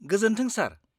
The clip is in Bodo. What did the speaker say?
-गोजोन्थों, सार